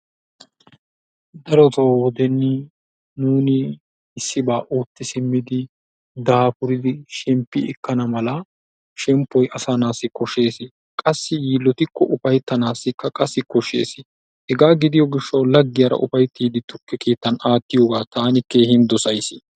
Darotoo nuuni issibaa ootti simmidi daafuridi shemppi ekkana mala shemppoyi asaa naatussi koshshees qassi yiillotikko ufayttanaassikka qassi koshshes hegaa gidiyo gishshawu laggiyara ufayttiiddi tukke keettan aattiyogaa taani keehin dosayis.